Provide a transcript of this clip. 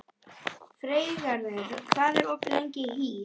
Freygarður, hvað er opið lengi í HÍ?